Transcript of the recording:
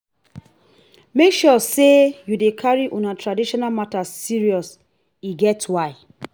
make sure say you dey carry una traditional matters serious e get why.